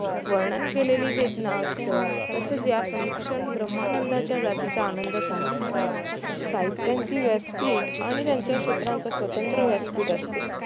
वर्णन केलेली वेदना असतं तसंच या समीक्षण भ्रमः नंदाच्या जातीचा आनंद समजतात साहित्याची व्यासपीठ आणि त्याच्या क्षेत्राचा स्वतंत्र व्यासपीठ असते